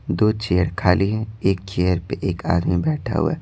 दो चेयर खाली हैं एक चेयर पे एक आदमी बैठा हुआ है।